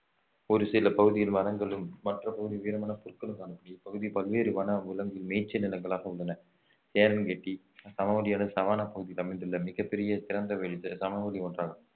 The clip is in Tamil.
ஒரு சில பகுதியில் மரங்களும் மற்ற பகுதியில் உயரமான புற்களும் காணப்படு~ இப்பகுதி பல்வேறு வனவிலங்கு மேய்ச்சல் நிலங்களாக உள்ளன சேரன்கட்டி சமவெளியானது சவானா பகுதியில் அமைந்துள்ள மிகப் பெரிய திறந்தவெளி சமவெளி ஒன்றாகும்